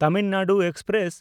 Tamil Nadu express